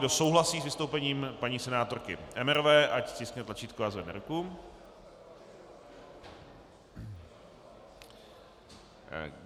Kdo souhlasí s vystoupením paní senátorky Emmerové, ať stiskne tlačítko a zvedne ruku.